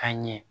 Ka ɲɛ